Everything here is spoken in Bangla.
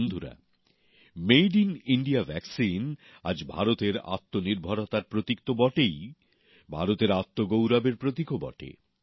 বন্ধুরা মেড ইন ইণ্ডিয়া টিকা আজ ভারতের আত্মনির্ভরতার প্রতীক তো বটেই ভারতের আত্মগৌরবের প্রতীকও বটে